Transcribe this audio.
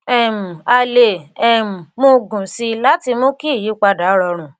um a lè um mú un gùn sí i láti mú kí ìyípadà rọrùn